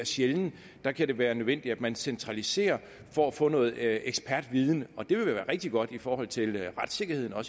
sjældent der kan det være nødvendigt at man centraliserer for at få noget ekspertviden og det vil jo være rigtig godt i forhold til retssikkerheden og